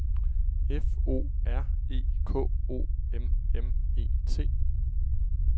F O R E K O M M E T